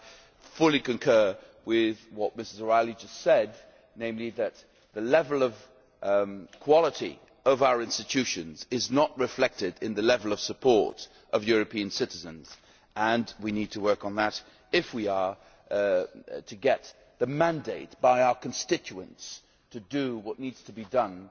I fully concur with what Mrs O'Reilly just said, namely that the level of quality of our institutions is not reflected in the level of support from European citizens, and we need to work on that if we are to get the mandate from our constituents to do what needs to be done